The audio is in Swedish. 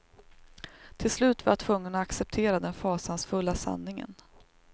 Till slut var jag tvungen att acceptera den fasansfulla sanningen.